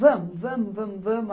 Vamos, vamos, vamos, vamos.